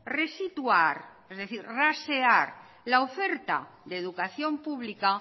resituar es decir rasear la oferta de educación pública